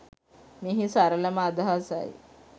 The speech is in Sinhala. මෙහි සරළම අදහසයි